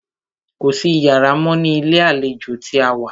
Kò sí iyàrá mọ́ ní ilé àlejò tí a wá.